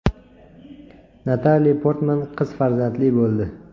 Natali Portman qiz farzandli bo‘ldi.